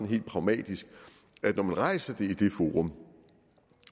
helt pragmatisk at når man rejser det i det forum